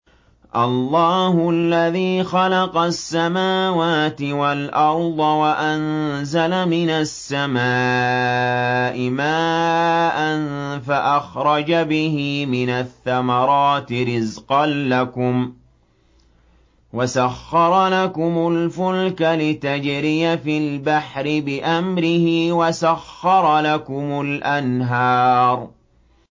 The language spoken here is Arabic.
اللَّهُ الَّذِي خَلَقَ السَّمَاوَاتِ وَالْأَرْضَ وَأَنزَلَ مِنَ السَّمَاءِ مَاءً فَأَخْرَجَ بِهِ مِنَ الثَّمَرَاتِ رِزْقًا لَّكُمْ ۖ وَسَخَّرَ لَكُمُ الْفُلْكَ لِتَجْرِيَ فِي الْبَحْرِ بِأَمْرِهِ ۖ وَسَخَّرَ لَكُمُ الْأَنْهَارَ